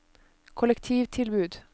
kollektivtilbud